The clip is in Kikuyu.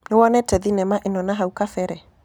Nĩwonete thĩnema ĩno nahũ kabere?